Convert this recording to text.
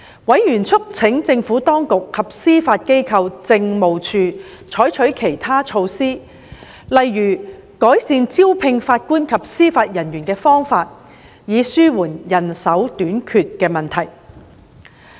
委員促請政府當局及司法機構政務處採取其他措施，例如改善招聘法官及司法人員的方法，以紓緩人手短缺的問題。